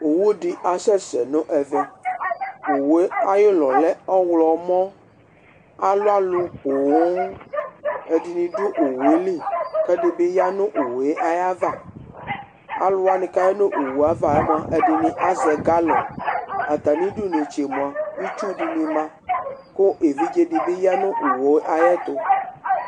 owu di asɛsɛ nu nɛ vɛowoe aɣi lɛ lɛ ɔɣlɔmɔalu alu booedini du owoe li ku ɛdibi ɣa nu owoe aɣava